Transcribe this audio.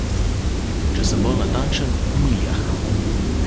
Če sem bolj natančen, v Miljah.